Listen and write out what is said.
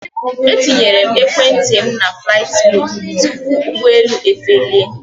E tinyere m ekwentị m na flaịtị modu tupu ụgbọelu efelie